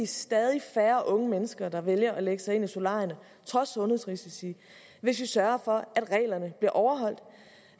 stadig færre unge mennesker der vælger at lægge sig ind under solarierne trods sundhedsrisici hvis vi sørger for at reglerne bliver overholdt